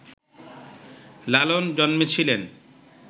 লালন জন্মেছিলেন